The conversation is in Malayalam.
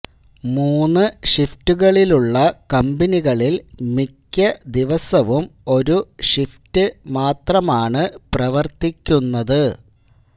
മൂന്ന് ഷിഫ്റ്റുകളിലുള്ള കമ്പനികളില് മിക്ക ദിവസവും ഒരു ഷിഫ്റ്റ് മാത്രമാണ് പ്രവര്ത്തിക്കുന്നത്